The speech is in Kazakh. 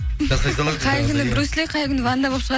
қай күні брюс ли қай күні ван дам болып